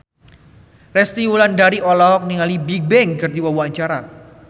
Resty Wulandari olohok ningali Bigbang keur diwawancara